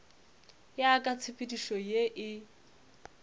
ya ka tshepedišo ye e